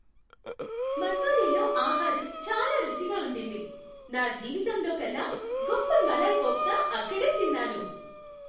మసూరీలో ఆహారం చాలా రుచిగా ఉండింది. నా జీవితంలోకల్లా గొప్ప మలాయ్ కోఫ్తా అక్కడే తిన్నాను.